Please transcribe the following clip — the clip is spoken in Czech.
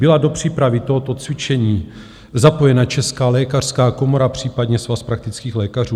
Byla do přípravy tohoto cvičení zapojena Česká lékařská komora, případně Svaz praktických lékařů?